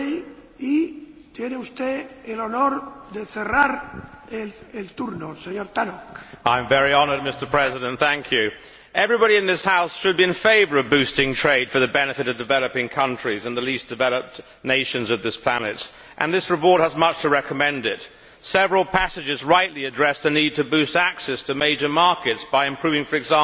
Mr President, I am very honoured, thank you. Everybody in this House should be in favour of boosting trade for the benefit of developing countries and the least developed nations of this planet, and this report has much to recommend it. Several passages rightly address the need to boost access to major markets by improving, for